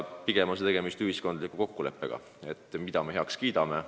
Tegemist on ühiskondliku kokkuleppega selle kohta, mis piiri me heaks kiidame.